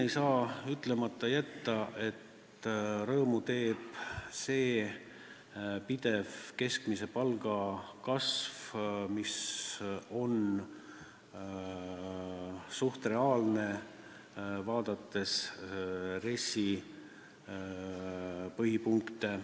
Ei saa ütlemata jätta, et rõõmu teeb pidev keskmise palga kasv, mis on RES-i põhipunkte vaadates suhteliselt reaalne.